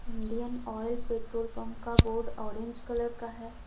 Indian oil petrol pump का board orange colour का है।